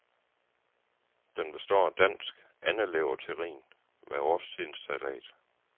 Den består af dansk andeleverterrin med årstidens salat.